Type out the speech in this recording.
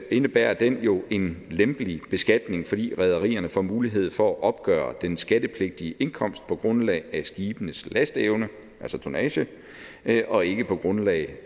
indebærer den jo en lempelig beskatning fordi rederierne får mulighed for at opgøre den skattepligtige indkomst på grundlag af skibenes lasteevne altså tonnage og ikke på grundlag